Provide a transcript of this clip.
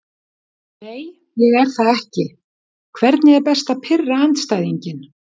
Nei ég er það ekki Hvernig er best að pirra andstæðinginn?